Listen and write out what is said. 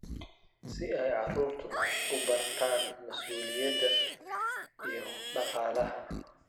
si ay carruurtu u bartaan mas'uuliyadda iyo dhaqaalaha.